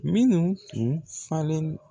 Minnu tun falen.